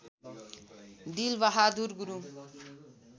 Dilbahadur Gurung